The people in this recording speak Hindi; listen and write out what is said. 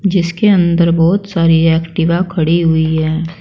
जिसके अंदर बहुत सारी एक्टिवा खड़ी हुई हैं।